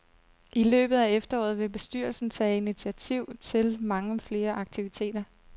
I løbet af efteråret vil bestyrelsen tage initiativ til mange flere aktiviteter.